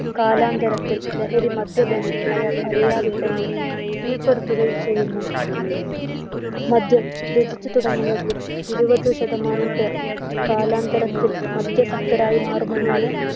കാലാന്തരത്തിൽ ലഹരി, മദ്യപാനെ അയാൾ അറിയാതെത്തന്നെ കീഴ്പ്പെടുത്തുകയും ചെയ്യുന്നു. മദ്യം രുചിച്ചു തുടങ്ങുന്നതിൽ ഇരുപത് ശതമാനം പേർ കാലാന്തരത്തിൽ മദ്യസക്തരായി മാറുമെന്നാണ്